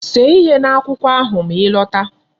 See ihe n'akwụkwọ ahụ ma ị lọta!